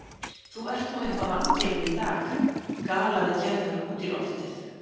Þú ert nú eitthvað vangefinn í dag galaði Gerður út í loftið.